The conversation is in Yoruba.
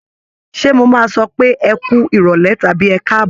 Ṣé mo máa sọ pé ẹ kú ìrọ̀lẹ́ tàbí ẹ káàbọ̀?